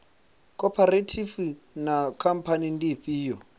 khophorethivi na khamphani ndi ifhio